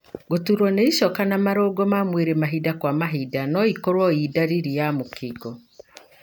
Gũturwo nĩ icoka na marungo ma mwĩrĩ mahinda kwa mahinda noĩkorwo ĩ ndariri ya mũkingo.